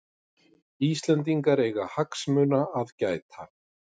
Íslendingar eiga hagsmuna að gæta